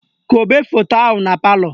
Kobe foto ahụ na palọ